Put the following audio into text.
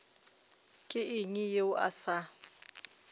ke eng yeo a sa